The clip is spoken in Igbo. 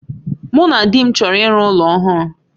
Mụ na di m chọrọ iru ụlọ ọhụrụ